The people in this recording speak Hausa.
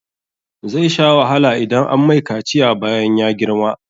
Zai sha wahala idan an mai kaciya bayan ya girma.